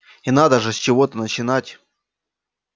и надо же с чего-то начать